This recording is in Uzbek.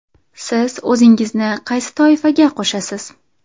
Siz o‘zingizni qaysi toifaga qo‘shasiz?